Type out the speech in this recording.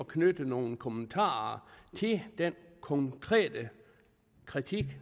knytte nogle kommentarer til den konkrete kritik